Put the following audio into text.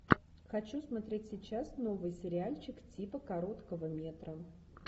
хочу смотреть сейчас новый сериальчик типа короткого метра